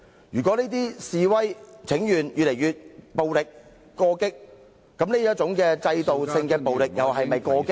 如果說現在的示威請願越來越暴力或過激，那麼這種制度性的暴力又是否過激？